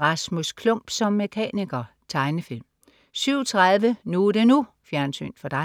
Rasmus Klump som mekaniker. Tegnefilm 07.30 NU er det NU. Fjernsyn for dig